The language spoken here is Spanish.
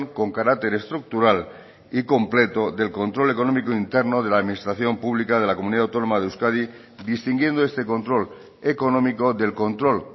con carácter estructural y completo del control económico interno de la administración pública de la comunidad autónoma de euskadi distinguiendo este control económico del control